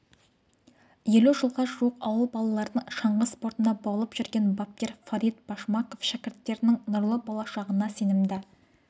елу жылға жуық ауыл балаларын шаңғы спортына баулып жүрген бапкер фарид башмаков шәкірттерінің нұрлы болашағына сенімді